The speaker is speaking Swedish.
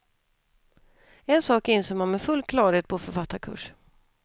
En sak inser man med full klarhet på författarkurs.